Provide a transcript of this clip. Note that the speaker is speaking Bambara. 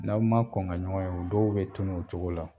N'aw ma kɔn ka ɲɔgɔn ye u dɔw bɛ tunun o cogo la.